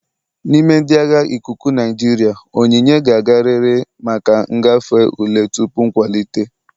N'ime ndị agha ikuku Naijiria, onyinye ga-agarịrị maka ịgafe ule tupu nkwalite.